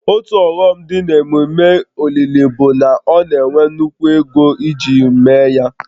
Otu ọghọm dị n'ememe olili bụ na ọ na-ewe nnukwu ego iji mee ya